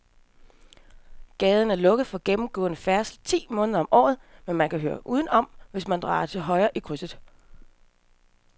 Gaden er lukket for gennemgående færdsel ti måneder om året, men man kan køre udenom, hvis man drejer til højre i krydset.